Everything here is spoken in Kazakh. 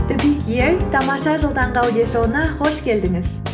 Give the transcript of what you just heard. тамаша жыл таңғы аудиошоуына қош келдіңіз